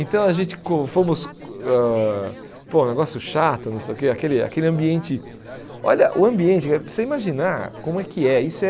Então a gente co, fomos ãh, pô, um negócio chato, não sei o que, aquele aquele ambiente, olha, o ambiente, você imaginar como é que é, isso é